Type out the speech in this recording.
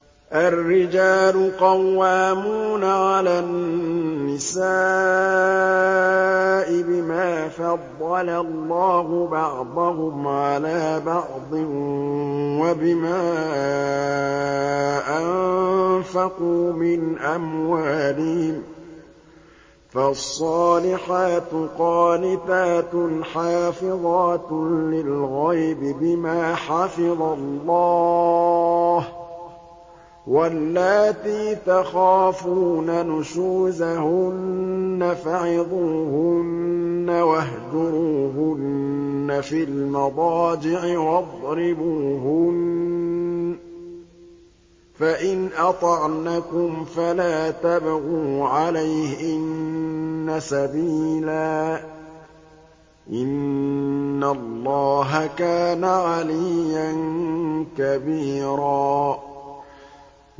الرِّجَالُ قَوَّامُونَ عَلَى النِّسَاءِ بِمَا فَضَّلَ اللَّهُ بَعْضَهُمْ عَلَىٰ بَعْضٍ وَبِمَا أَنفَقُوا مِنْ أَمْوَالِهِمْ ۚ فَالصَّالِحَاتُ قَانِتَاتٌ حَافِظَاتٌ لِّلْغَيْبِ بِمَا حَفِظَ اللَّهُ ۚ وَاللَّاتِي تَخَافُونَ نُشُوزَهُنَّ فَعِظُوهُنَّ وَاهْجُرُوهُنَّ فِي الْمَضَاجِعِ وَاضْرِبُوهُنَّ ۖ فَإِنْ أَطَعْنَكُمْ فَلَا تَبْغُوا عَلَيْهِنَّ سَبِيلًا ۗ إِنَّ اللَّهَ كَانَ عَلِيًّا كَبِيرًا